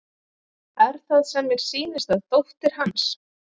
Er það sem mér sýnist að dóttir hans